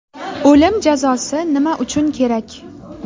O‘lim jazosi nima uchun kerak?